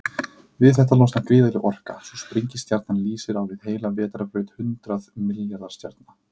Við þetta losnar gríðarleg orka, svo sprengistjarnan lýsir á við heila vetrarbraut hundrað milljarða stjarna.